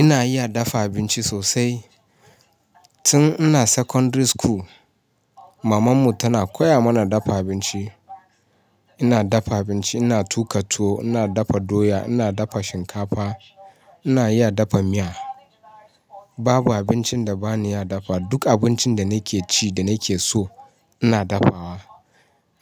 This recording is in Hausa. Ina iya dafa abinci sosai. Tun ina secondary school maman mu tana koya mana dafa abinci. Ina dafa abinci, ina tuƙa tuwo, ina dafa doya, ina dafa shinkafa, ina iya dafa miya. Babu abincin da bani iya dafa. Duk abincin da nake ci da nake so ina dafawa.